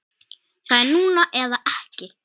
Það er núna eða ekki.